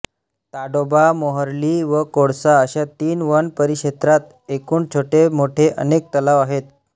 ताडोबा मोहर्ली व कोळसा अशा तीन वनपरिक्षेत्रात एकूण छोटे मोठे अनेक तलाव आहेत